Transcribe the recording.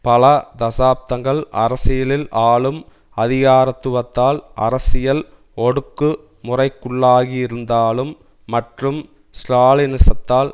பல தசாப்தங்கள் அரசியலில் ஆளும் அதிகாரத்துவத்தால் அரசியல் ஒடுக்குமுறைக்குள்ளாகியிருந்ததாலும் மற்றும் ஸ்ராலினிசத்தால்